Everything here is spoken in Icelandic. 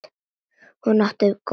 Hún átti góð börn.